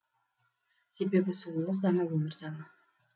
себебі сұлулық заңы өмір заңы